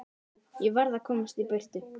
Ég varð að komast í burtu.